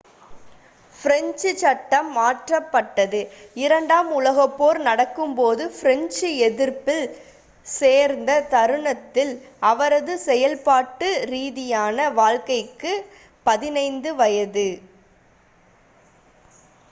French சட்டம் மாற்றப்பட்டது இரண்டாம் உலகப்போர் நடக்கும்போது பிரெஞ்சு எதிர்ப்பில் சேர்ந்த தருணத்தில் அவரது செயல்பாட்டு ரீதியான வாழ்க்கைக்கு 15 வயது